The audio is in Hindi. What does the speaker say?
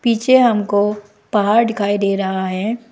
पीछे हमको पहाड़ दिखाई दे रहा है।